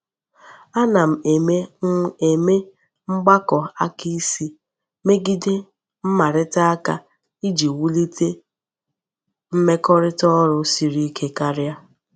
Ana m eme m eme mgbako aka isi megide mmarita aka iji wulite mmekorita oru siri Ike karia.